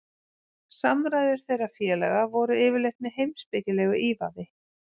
Samræður þeirra félaga voru yfirleitt með heimspekilegu ívafi.